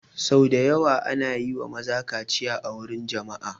Sau da yawa ana yi wa maza kaciya a wurin jama'a